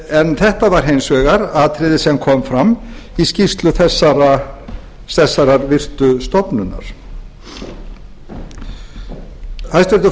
en þetta var hins vegar atriði sem kom fram í skýrslu þessarar virtu stofnunar hæstvirtur